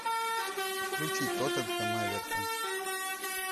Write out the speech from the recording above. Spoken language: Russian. включи тоттенхэм эвертон